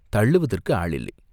தள்ளுவதற்கு ஆள் இல்லை.